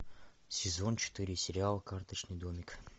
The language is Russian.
сезон четыре сериал карточный домик